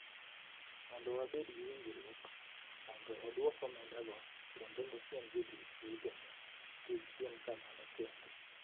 Mondo wabed gi winjruok mondo odwok omendago kendo osiem jotich wetene kik tim kamano kendo